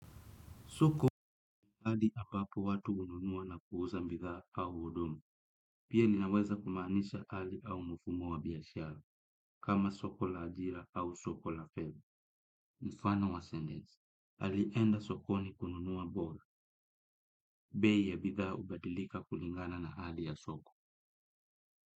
Soko hali ambapo watu ununua na kuuza mbitha au hudumu. Pia linaweza kumaanisha hali au mufumo wa biashara, kama soko la ajira au soko la feb. Mfano wa sendesi, alienda sokoni kununua mboga, bei ya bitha hubadilika kulingana na hali ya soko.